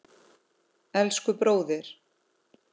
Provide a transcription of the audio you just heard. Elsku, bróðir.